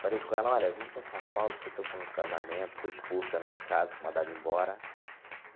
Falei com ela, olha, vim para São Paulo porque estou com um casamento, fui expulso da minha casa, fui mandado embora.